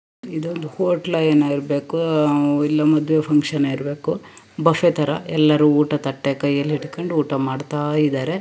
ಇದೊಂದು ಹೊಟ್ಲ್ ಏನೋ ಇರಬೇಕು ಆಹ್ ಇಲ್ಲಿ ಮದುವೆ ಫಕ್ಷನ್ ಇರಬೇಕು ಬಫೆ ತರ ಎಲ್ಲರು ಊಟ ತಟ್ಟೆ ಕೈಯಲ್ಲಿ ಹಿಡಕೊಂಡು ಊಟ ಮಾಡತ್ತಾ ಇದಾರೆ.